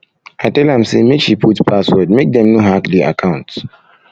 i tell am say make she put password make dem no hack di account